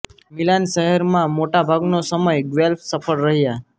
Milan શહેરમાં મોટા ભાગનો સમય ગ્વેલ્ફ સફળ રહ્યાં